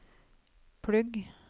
plugg